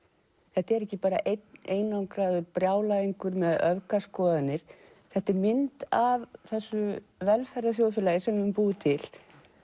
þetta er ekki bara einn einangraður brjálæðingur með öfgaskoðanir þetta er mynd af þessu velferðarþjóðfélagi sem við höfum búið til